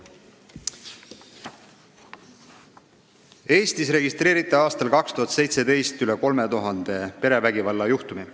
Eestis registreeriti aastal 2017 üle 3000 perevägivalla juhtumi.